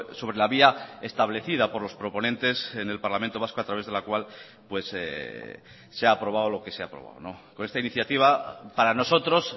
sobre la vía establecida por los proponentes en el parlamento vasco a través de la cual se ha aprobado lo que se ha aprobado con esta iniciativa para nosotros